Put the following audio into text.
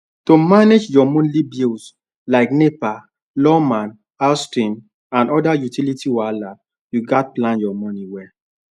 to manage monthly bills like nepa lawma house rent and other utility wahala you gats plan your money well